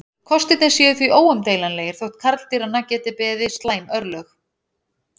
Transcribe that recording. Kostirnir séu því óumdeilanlegir þótt karldýranna geti beði slæm örlög.